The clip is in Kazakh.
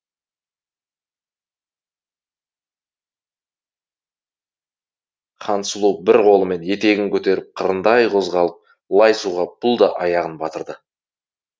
хансұлу бір қолымен етегін көтеріп қырындай қозғалып лай суға бұл да аяғын батырды